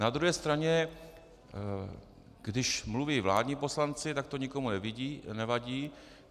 Na druhé straně když mluví vládní poslanci, tak to nikomu nevadí.